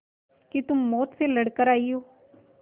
कि तुम मौत से लड़कर आयी हो